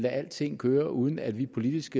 alting køre uden at vi politisk